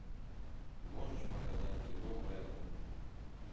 можешь показать кино мелани